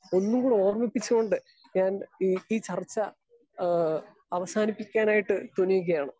Speaker 2 ഒന്നുംകൂടെ ഓർമിപ്പിച്ചുകൊണ്ട് ഞാൻ ഈ ചർച്ച ഏഹ് അവസാനിപ്പിക്കാനായിട്ട് തുനിയുകയാണ്.